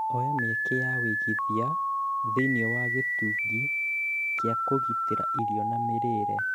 Oya mĩeke ya ũigithia thĩiniĩ wa gĩtugĩ kĩa kugitira irio na mĩrĩĩre